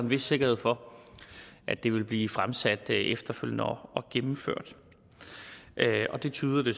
vis sikkerhed for at det vil blive fremsat efterfølgende og gennemført det tyder det